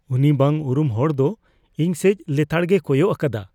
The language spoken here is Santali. ᱩᱱᱤ ᱵᱟᱝ ᱩᱨᱩᱢ ᱦᱚᱲ ᱫᱚ ᱤᱧ ᱥᱮᱪ ᱞᱮᱛᱟᱲᱜᱮᱭ ᱠᱚᱭᱚᱜ ᱟᱠᱟᱫᱟ ᱾